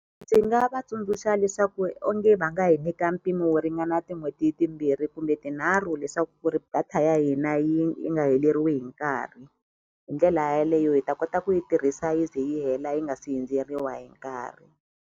Ndzi nga va tsundzuxa leswaku onge vanga hi nyika mpimo wo ringana tin'hweti timbirhi kumbe tinharhu leswaku ku ri data ya hina yi yi nga heleriwi hi nkarhi hi ndlela yaleyo hi ta kota ku yi tirhisa yi ze yi hela yi nga si hindzeriwa hi nkarhi.